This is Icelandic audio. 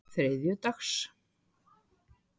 þriðjudags